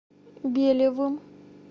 белевым